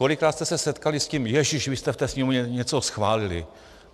Kolikrát jste se setkali s tím "ježiš, vy jste v té Sněmovně něco schválili"?